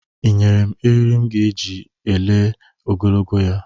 Ị nyere m eriri m ga-eji lelee ogologo ya?